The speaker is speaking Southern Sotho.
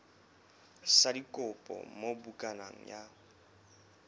sa dikopo moo bukana ya